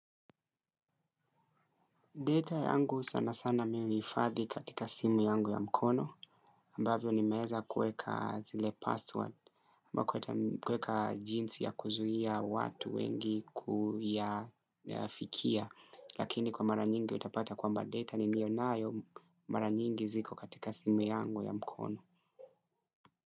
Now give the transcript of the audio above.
Data yangu sana sana mimi huhifadhi katika simu yangu ya mkono ambavyo nimeweza kuweka zile password. Ambako kuweka jinsi ya kuzuia watu wengi kuyafikia, lakini kwa mara nyingi utapata kwamba data ni nilionayo mara nyingi ziko katika simu yangu ya mkono.